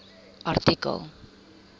artikel